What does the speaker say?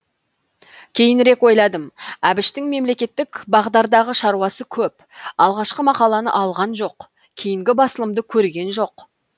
кейінірек ойладым әбіштің мемлекеттік бағдардағы шаруасы көп алғашқы мақаланы алған жоқ кейінгі басылымды көрген жоқ